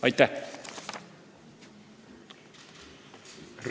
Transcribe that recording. " Aitäh!